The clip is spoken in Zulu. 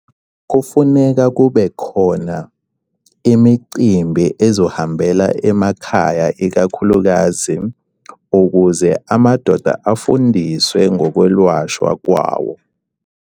Kufuneka kube khona imicimbi ezohambela emakhaya ikakhulukazi ukuze amadoda afundiswe ngokwelashwa kwawo.